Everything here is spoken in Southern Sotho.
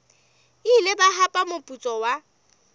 ile ba hapa moputso wa